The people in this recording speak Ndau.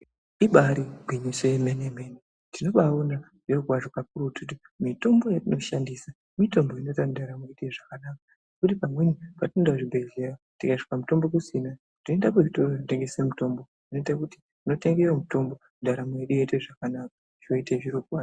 Ibari gwinyiso yemene mene tinobaiona zviro kwazvo kakurutu mitombo yatinoshandisa mutombo inota kuti ndaramo iite zvakanaka kuti pamweni patinoenda kuzvibhehleya tikasvika mutombo kusina tinoenda kuzvitoro zvinotengesa mutombo inoita kuti totenga mutombo ndaramo yedu yoita zvakanaka zvoita zviro kwazvo.